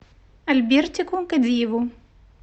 альбертику кадиеву